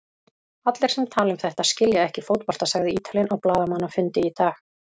Allir sem tala um þetta skilja ekki fótbolta, sagði Ítalinn á blaðamannafundi í dag.